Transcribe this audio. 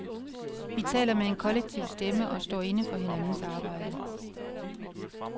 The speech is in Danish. Vi taler med en kollektiv stemme og står inde for hinandens arbejde.